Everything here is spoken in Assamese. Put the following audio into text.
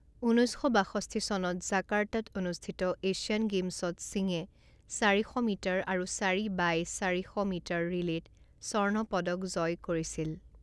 ঊনৈছ শ বাষষ্ঠি চনত জাকাৰ্টাত অনুষ্ঠিত এছিয়ান গেমছত সিঙে চাৰি শ মিটাৰ আৰু চাৰি বাই চাৰি শ মিটাৰ ৰিলে'ত স্বৰ্ণ পদক জয় কৰিছিল।